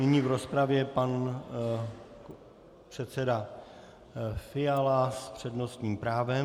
Nyní v rozpravě pan předseda Fiala s přednostním právem.